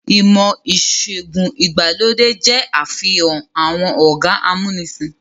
Ìmọ̀-ìṣẹ̀gùn ìgbàlódé jẹ́ àfihàn àwọn ọ̀gá amúnisìn.